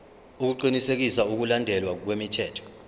ukuqinisekisa ukulandelwa kwemithetho